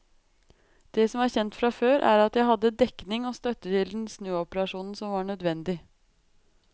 Det som er kjent fra før, er at jeg hadde dekning og støtte til den snuoperasjonen som var nødvendig.